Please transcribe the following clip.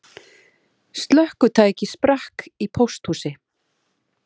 Slökkvitæki sprakk í pósthúsi